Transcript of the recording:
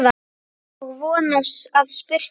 Og von að spurt sé.